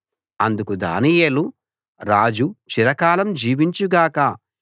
అందుకు దానియేలు రాజు చిరకాలం జీవించు గాక